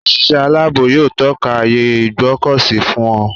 Òṣìṣẹ́ aláàbò yóò tọ́ka ààyè Ìgbọ̀kọ̀sí fún ọ.